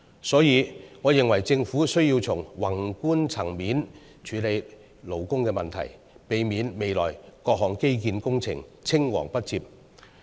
所以，我認為，政府需要從宏觀層面處理勞工問題，避免未來各項基建工程青黃不接。